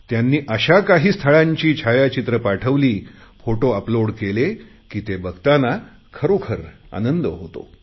त्यांनी अशा काही स्थळांची छायाचित्रे पाठवली फोटो अपलोड केले की ते बघताना खरोखर आनंद होतो